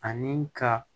Ani ka